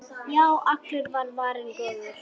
Já, allur var varinn góður!